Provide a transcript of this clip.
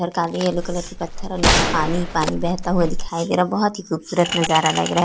और काले yellow colour के पत्थर और नीचे पानी ही पानी बहता हुआ दिखाई दे रहा है बहुत ही खूबसूरत नजारा लग रहा है ।